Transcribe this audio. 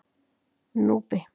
Núpi